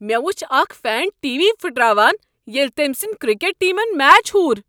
مےٚ وچھ اکھ فین ٹی وی پھٹراوان ییٚلہ تٔمۍ سٕنٛدۍ کرکٹ ٹیمن میچ ہور۔